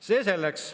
See selleks.